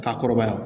Ka kɔrɔbaya